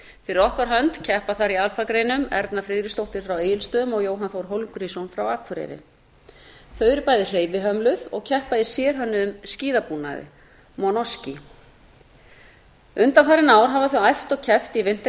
fyrir okkar hönd keppa þar í alpagreinum erna friðriksdóttir frá egilsstöðum og jóhann þór hólmgrímsson frá akureyri þau eru bæði hreyfihömluð og keppa í sérhönnuðum skíðabúnaði monoski undanfarin ár hafa þau æft og keppt